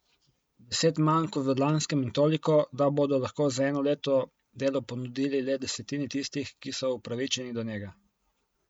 Deset manj kot v lanskem in toliko, da bodo lahko za eno leto delo ponudili le desetini tistih, ki so upravičeni do njega.